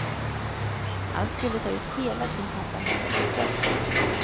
Han skulle ta ut hela sin pappamånad med fröjd.